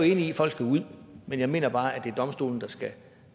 i at folk skal ud men jeg mener bare det er domstolene